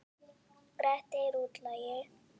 Grettir útlagi.